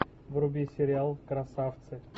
вруби сериал красавцы